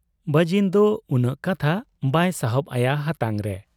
ᱵᱟᱹᱡᱤᱱᱫᱚ ᱩᱱᱟᱹᱜ ᱠᱟᱛᱷᱟ ᱵᱟᱭ ᱥᱟᱦᱚᱵ ᱟᱭᱟ ᱦᱟᱛᱟᱝᱨᱮ ᱾